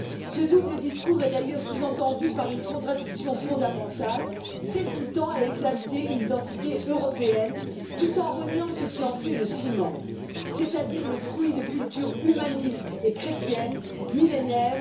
Ce double discours est d'ailleurs sous tendu par une contradiction fondamentale, celle qui tend à exalter une identité européenne tout en reniant ce qui en fait le ciment, c'est à dire le fruit de cultures humanistes et chrétiennes millénaires.